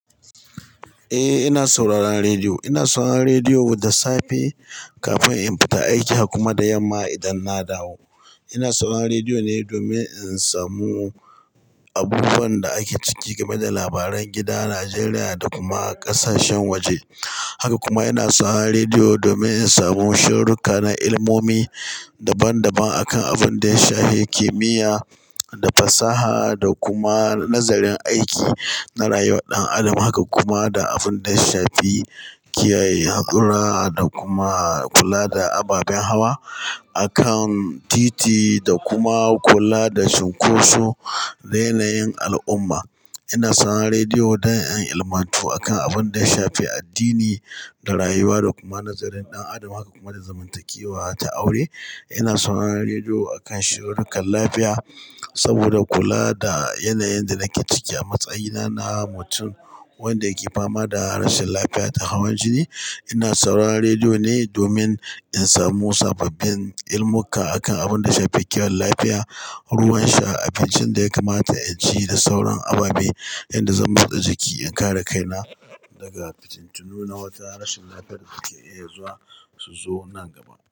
Eh, ina sauraron rediyo. Ina sauraron rediyo da safe kafin in fita aiki, kuma da yamma idan na dawo. Ina sauraron rediyo ne domin in samu abubuwan da ake ciki game da labaran gida, Najeriya da kuma ƙasashen waje. Haka kuma ina sauraron rediyo domin in samu shiruƙa na ilimomi daban-daban a kan abin da ya shafi kimiyya da fasaha, da kuma nazarin aiki na rayuwar ɗan adam. Haka kuma da abin da ya shafi kiyaye haura da kuma kula da ababen hawa a kan titi, da kuma kula da cunkoso da yanayin al'umma. Ina sauraron rediyo don in ilmatu a kan abin da ya shafi addini da rayuwa, da kuma nazarin ɗan adam, haka kuma da zamantakewa ta aure. Ina sauraron rediyo a kan shiruƙan lafiya saboda kula da yanayin da nake ciki a matsayina na mutum wanda yake fama da rashin lafiya ta hawan jini. Ina sauraron rediyo ne domin in samu sababbin ilimuka a kan abin da ya shafi kiwon lafiya, ruwan sha, abincin da ya kamata in ci da sauran ababe inda zan bauta jiki in kare kaina daga fitattunu na wata rashin lafiyar da ke iya zuwa su zo nan gaba.